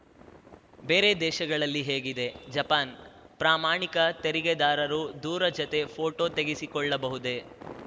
ಬೇರೆ ದೇಶಗಳಲ್ಲಿ ಹೇಗಿದೆ ಜಪಾನ್‌ ಪ್ರಾಮಾಣಿಕ ತೆರಿಗೆದಾರರು ದೂರ ಜತೆ ಫೋಟೋ ತೆಗೆಸಿಕೊಳ್ಳಬಹುದೇ